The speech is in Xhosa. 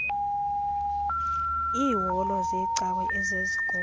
iiholo zeecawe ezezikolo